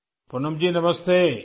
Poonam ji نمستے